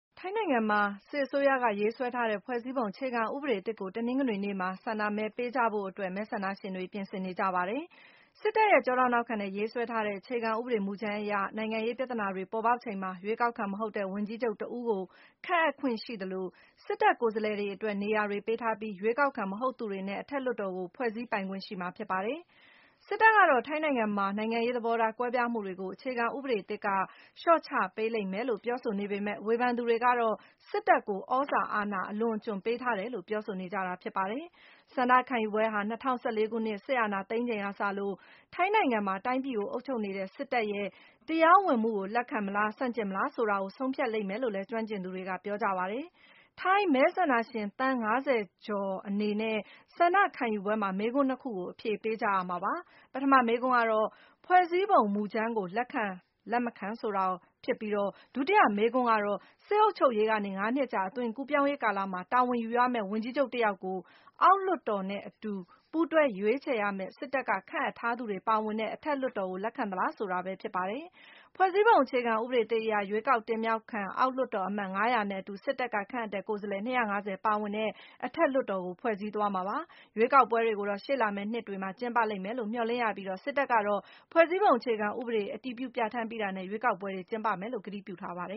ထိုင်းနိုင်ငံမှာ စစ်အစိုးရက ရေးဆွဲထားတဲ့ ဖွဲ့စည်းပုံအခြေခံဥပဒေသစ်ကို တနင်္ဂနွေနေ့မှာ ဆန္ဒမဲပေးကြဖို့အတွက် မဲဆန္ဒရှင်တွေ ပြင်ဆင်နေကြပါတယ်။ စစ်တပ်ရဲ့ကျောထောက်နောက်ခံနဲ့ ရေးဆွဲထားတဲ့ အခြေခံဥပဒေမူကြမ်းအရ - နိုင်ငံရေးပြဿနာတွေ ပေါ်ပေါက်ချိန်မှာ ရွေးကောက်ခံ မဟုတ်တဲ့ ဝန်ကြီးချုပ်တဦးကို ခန့်အပ်ခွင့်ရှိသလို၊ စစ်တပ်ကိုယ်စားလှယ်တွေအတွက် နေရာတွေပေးထားပြီး ရွေးကောက်ခံ မဟုတ်သူတွေနဲ့ အထက်လွှတ်တော်ကို ဖွဲ့စည်းပိုင်ခွင့်ရှိမှာ ဖြစ်ပါတယ်။ စစ်တပ်ကတော့ ထိုင်းနိုင်ငံမှာ နိုင်ငံရေးသဘောထား ကွဲပြားမှုတွေကို အခြေခံဥပဒေသစ်က လျှော့ချပေးလိမ့်မယ်လို့ ပြောဆိုနေပေမဲ့ - ဝေဖန်သူတွေကတော့ စစ်တပ်ကို သြဇာအာဏာ အလွန်အကျွံ ပေးထားတယ်လို့ ပြောဆိုနေကြတာပါ။ ဆန္ဒခံယူပွဲဟာ - ၂၀၁၄ ခုနှစ် စစ်အာဏာသိမ်းချိန်ကစလို့ ထိုင်းနိုင်ငံမှာ တိုင်းပြည်ကို အုပ်ချုပ်နေတဲ့ စစ်တပ်ရဲ့ တရားဝင်မှုကို လက်ခံမလား၊ ဆန့်ကျင်မလား ဆိုတာကို ဆုံးဖြတ်လိမ့်မယ်လို့လည်း ကျွမ်းကျင်သူတွေကပြောပါတယ်။ ထိုင်းမဲဆန္ဒရှင် သန်း ၅၀ ကျော်အနေနဲ့ ဆန္ဒခံယူပွဲမှာ မေးခွန်း ၂ ကို အဖြေပေးကြရမှာ ဖြစ်ပါတယ်။ ပထမမေးခွန်းကတော့ ဖွဲ့စည်းပုံမူကြမ်းကို လက်ခံ-မခံဖြစ်ပြီး ဒုတိယမေးခွန်းကတော့ - စစ်အုပ်ချုပ်ရေးကနေ ၅ နှစ်ကြာ အသွင်ကူးပြောင်းရေးကာလမှာ တာဝန်ယူရမယ့် ဝန်ကြီးချုပ် တယောက်ကို အောက်လွှတ်တော်နဲ့အတူ ပူးတွဲရွေးချယ်ရမယ့် စစ်တပ်က ခန့်အပ်ထားသူတွေ ပါဝင်တဲ့ အထက်လွှတ်တော်ကို လက်ခံသလားဆိုတာပဲ ဖြစ်ပါတယ်။ ဖွဲ့စည်းပုံအခြေခံဥပဒေသစ်အရ - ရွေးကောက်တင်မြှောက်ခံ အောက်လွှတ်တော်အမတ် ၅၀၀ နဲ့အတူ စစ်တပ်က ခန့်အပ်တဲ့ ကိုယ်စားလှယ် ၂၅၀ ပါဝင်တဲ့ အထက်လွှတ်တော်ကို ဖွဲ့စည်းသွားမှာပါ။ ရွေးကောက်ပွဲတွေကိုတော့ ရှေ့လာမယ့်နှစ်မှာ ကျင်းပလိမ့်မယ်လို့ မျှော်လင့်ရပြီး၊ စစ်တပ်ကတော့ ဖွဲ့စည်းပုံအခြေခံဥပဒေ အတည်ပြုပြဌာန်းပြီးတာနဲ့ ရွေးကောက်ပွဲ ကျင်းပမယ်လို့လည်း ကတိပြုထားပါတယ